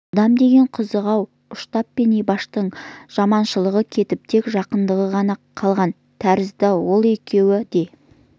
адам деген қызық-ау ұштап пен ибаштың жаманшылығы кетіп тек жақындығы ғана қалған тәрізді ол екеуі де